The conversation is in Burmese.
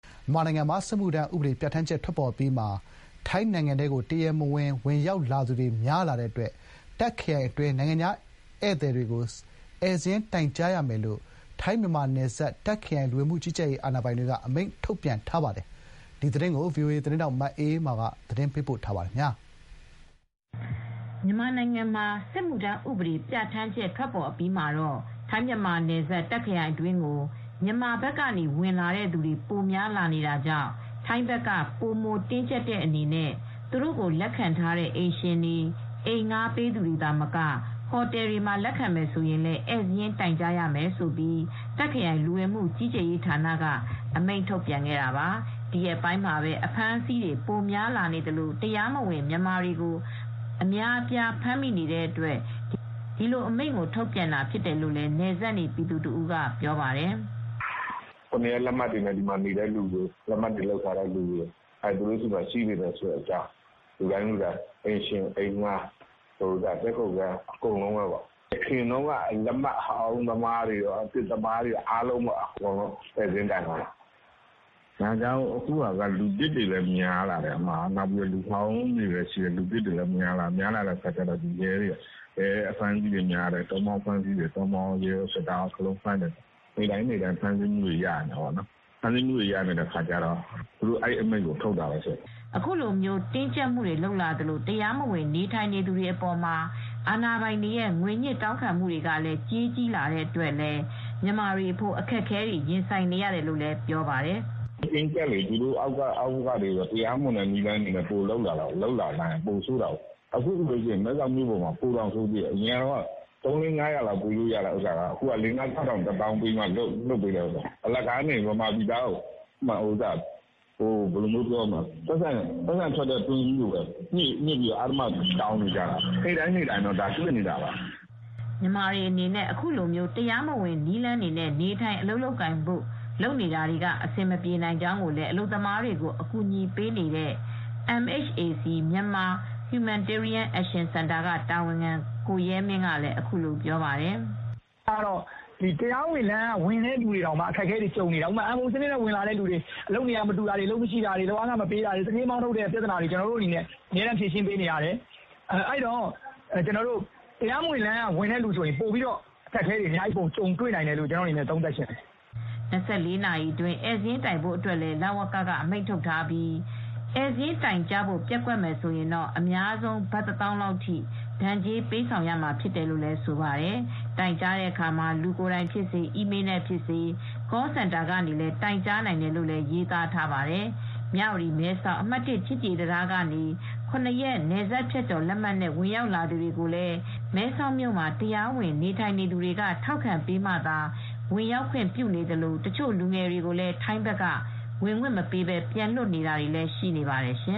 မြန်မာနိုင်ငံမှာ စစ်မှုထမ်းဥပဒေ ပြဌာန်းချက် ထွက်ပေါ်အပြီးမှာ ထိုင်းနိုင်ငံထဲကို တရားမဝင် ဝင်ရောက်လာသူတွေများလာတဲ့အတွက် တာ့ခ်ခရိုင်အတွင်း နိုင်ငံခြားသားဧည့်သည်တွေလာရင် ဧည့်စာရင်း တိုင်ကြားရမယ်လို့ ထိုင်း-မြန်မာနယ်စပ် တာ့ခ်ခရိုင်လူဝင်မှုကြီးကြပ်ရေး အာဏာပိုင်တွေက အမိန့်ထုတ်ပြန်ထားပါတယ်။ ဗွီအိုအေသတင်းထောက် မအေးအေးမာက သတင်းပေးပို့ ထားပါတယ်။ မြန်မာနိုင်ငံမှာ စစ်မှုထမ်းဥပဒေပြဌာန်းချက် ထွက်ပေါ်အပြီးမှာ ထိုင်းမြန်မာနယ်စပ် တာခ့်ခရိုင်အတွင်းကို မြန်မာဘက်က ဝင်လာတဲ့သူတွေ ပိုများလာနေတာကြောင့် ထိုင်းဘက်က ပိုမိုတင်းကျပ်တဲ့အနေနဲ့ သူတို့ကို လက်ခံထားတဲ့ အိမ်ရှင်တွေ အိမ်ငှာပေးသူတွေသာမက ဟိုတယ်တွေမှာ လက်ခံမယ်ဆိုရင်လည်း ဧည့်စာရင်း တိုင်ကြားရမယ်လို့ တာခ့်ခရိုင် လူဝင်မှုကြီးကြပ်ရေးက အမိန့်ထုတ်ခဲ့တာပါ။ ဒီရက်ပိုင်းမှာ အဖမ်းဆီးတွေ ပိုများလာသလို တရားမဝင် မြန်မာတွေကို အများအပြား ဖမ်းမိနေတဲ့အတွက် ဒီလိုအမိန့်ကို ထုတ်ပြန်တာဖြစ်တယ်လို့ နယ်စပ်နေ ပြည်သူတဦးက ပြောပါတယ်။ " ၇ ရက် လက်မှတ်နဲ့နေကြတဲ့သူတေွ လက်မှတ် လုပ်ထားသူတွေအားလုံး သူတို့ဒီမှာရှိနေတဲ့အကြောင်း အိမ်ရှင်အိမ်ငှား တည်းခိုခန်း အရင်က လက်မှတ်အဟောင်း−အသစ်သမား အားလုံး ဧည့်စာရင်း တိုင်ခိုင်းတာ။ အခုဟာက လူသစ်တွေလည်း များလာတယ် လူဟောင်းတွေလည်းရှိတယ်။ အဲဒီတော့ ရဲကော တောမော ကော စစ်သားကော ဖမ်းဆီးမှုတွေက ပိုများလာတယ် ဒီတော့ အဲဒီအမိန့်ကို ထုတ်တာပေါ့နော်။ " အခုလိုတင်းကြပ်မှုတွေ လုပ်လာသလို တရားမဝင် နေထိုင်နေသူတွေအပေါ်မှာ အာဏာပိုင်တွေရဲ့ ငွေညှစ် တောင်းခံမှုတွေက ကြေးကြီးလာတဲ့အတွက်လည်း မြန်မာတွေအဖို့ အခက်အခဲတွေ ရင်ဆိုင်နေရတယ်လို့လည်း ဆိုပါတယ်။ " တင်းကျပ်လေ အောက်ကနေ တရားမဝင် နည်းလမ်းတွေနဲ့ ပိုလုပ်လာတာပေါ့ အရင်က သုံး ေလးငါးရာ ပေးလို့ရတာကို အခုက ငါးထောင် ခြောက်ထောင် တသောင်းပေးမှ ပြန်လွှတ်ပေးမယ် ဖြစ်လာတယ်။ အလကားနေ မြန်မာပြည်သားကို ပိုက်ဆံထွက်တဲ့ တွင်းကြီးလိုပဲ ငွေညှစ်ပြီး တောင်းခံနေတော့တာပဲ။ " မြန်မာတွေအနေနဲ့ အခုလို တရားမဝင်နည်းနဲ့ နေထိုင် အလုပ်လုပ်ကိုင်ဖို့ လုပ်တာက အဆင်မပြေနိုင်ကြောင်းကိုလည်း အလုပ်သမားတွေကို အကူညီပေးနေတဲ့ MHAC (Myanmar Humanitarian Action Centre) က တာဝန်ခံကိုရဲမင်းက ပြောပါတယ်။ " တရားဝင် စနစ်နဲ့ ဝင်လာတာတောင် ပိုပြီး ပြဿနာတက်နေတယ် အခက်အခဲတွေကြုံနေတယ်။ MOU စနစ်နဲ့ ဝင်လာသူတွေဆို အလုပ်နေရာ မတူတာတွေ အလုပ်မရှိတာတွေ လုပ်အားခ မပေးတာတွေ သူဌေးက မောင်းထုတ်တာတွေ ကျနော်တို့ အမြဲရှင်းပေးနေရတယ်။ အခုက တရားမဝင် ဝင်လာရင် ပိုဆိုးလိမ့်မယ်။ " ၂၄ နာရီအတွင်း ဧည့်စာရင်းတိုင်ဖို့အတွက်လည်း လ၀ကရဲ့ အမိန့်ထုတ်ပြန်ထားပြီး ဧည့်စာရင်းတိုင်ကြားဖို့ ပျက်ကွက်မယ် ဆိုရင်တော့ အများဆုံး ဘတ်တသောင်းလောက်ထိ ဒဏ်ကြေး ပေးဆောင်ရမှာဖြစ်တယ်လို့လည်း ဆိုပါတယ်။ တိုင်ကြားတဲ့အခါ လူကိုယ်တိုင်ဖြစ်စေ အီးမေလ်းနဲ့ဖြစ်စေ Call Center ကနေလည်း တိုင်ကြားနိုင်တယ်လို့ ရေးသားထားပါတယ်။ မြဝတီ-မဲဆောက် အမှတ် ချစ်ကြည်ရေးတံတားကနေ ရက် နယ်စပ်ဖြတ်ကျော်လက်မှတ်နဲ့ ဝင်ရောက်လာသူတွေကိုလည်း မဲဆောက်မြို့မှာ တရားဝင် နေထိုင်သူတွေက ထောက်ခံပေးမှသာ ဝင်ရောက်ခွင့်ပြုနေသလို တချို့လူငယ်တွေကိုလည်း ထိုင်းဘက်က ဝင်ခွင့် မပေးပဲ ပြန်လွှတ်နေတာတွေလည်း ရှိနေပါတယ်ရှင